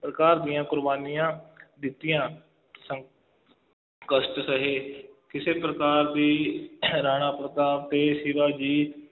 ਪ੍ਰਕਾਰ ਦੀਆਂ ਕੁਰਬਾਨੀਆਂ ਦਿੱਤੀਆਂ ਸੰ~ ਕਸ਼ਟ ਸਹੇ, ਕਿਸੇ ਪ੍ਰਕਾਰ ਦੀ ਰਾਣਾ ਪ੍ਰਤਾਪ ਅਤੇ ਸ਼ਿਵਾਜੀ